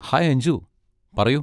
Hi Anju! പറയൂ.